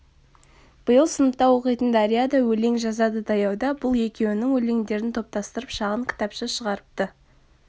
биыл сыныпта оқитын дария да өлең жазадытаяуда бұл екеуінің өлеңдерін топтастырып шағын кітапша шығарыпты